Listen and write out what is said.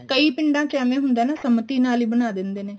ਕਈ ਪਿੰਡਾਂ ਚ ਐਵੇਂ ਹੁੰਦਾ ਨਾ ਸੰਮਤੀ ਨਾਲ ਹੀ ਬਣਾ ਦਿੰਦੇ ਨੇ